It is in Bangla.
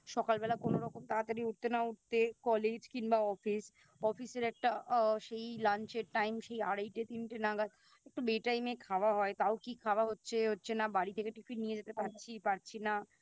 সকালবেলা কোনোরকম তাতাড়ি উঠতে না উঠতে College কিংবা Office Office এর একটা আ সেই Lunch এর টাইম সেই আড়াইটে তিনটে নাগাদ একটু বে Time এ খাওয়া হয় তাও কি খাওয়া হচ্ছে এ হচ্ছে না বাড়ি থেকে Tiffin নিয়ে যেতে পারছি পারছি না